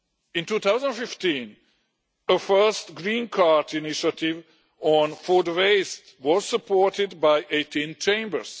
In 2015, a first green card initiative on food waste was supported by 18 chambers.